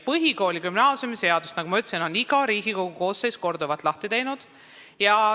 Nagu ma ütlesin, iga Riigikogu koosseis on ka põhikooli- ja gümnaasiumiseaduse korduvalt lahti teinud.